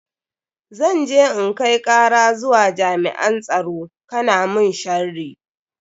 Zan je in kai kara zuwa jami'an tsaro kana mun sharri.